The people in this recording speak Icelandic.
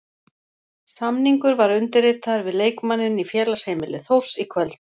Samningur var undirritaður við leikmanninn í félagsheimili Þórs í kvöld.